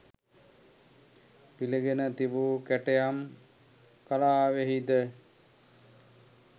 පිළිගෙන තිබූ කැටයම් කලාවෙහිද